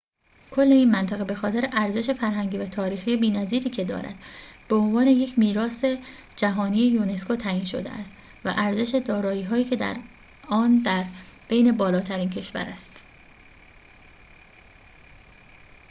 کل این منطقه به‌خاطر ارزش فرهنگی و تاریخی بی‌نظیری که دارد به عنوان یک میراث جهانی یونسکو تعیین شده است و ارزش دارایی‌های آن در بین بالاترین‌های کشور است